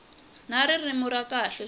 na ririmi ra kahle swi